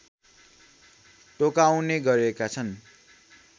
टोकाउने गरेका छन्